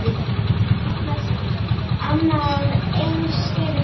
Annað eins hefur gerst.